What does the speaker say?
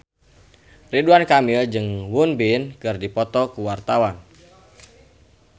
Ridwan Kamil jeung Won Bin keur dipoto ku wartawan